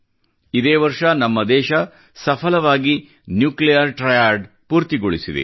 ಇದೇ ವರ್ಷ ನಮ್ಮ ದೇಶ ಸಫಲವಾಗಿ ನ್ಯುಕ್ಲಿಯರ್ ಟ್ರಯಾಡ್ ಪೂರ್ತಿಗೊಳಿಸಿದೆ